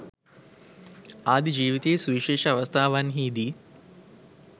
ආදී ජීවිතයේ සුවිශේෂී අවස්ථාවන්හීදී